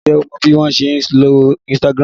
Ǹjẹ́ o mọ bí wọn ṣe ń lo Instagram?